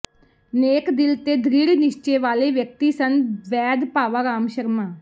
ਨੇਕ ਦਿਲ ਤੇ ਦ੍ਰਿੜ੍ਹ ਨਿਸ਼ਚੇ ਵਾਲੇ ਵਿਅਕਤੀ ਸਨ ਵੈਦ ਭਾਵਾ ਰਾਮ ਸ਼ਰਮਾ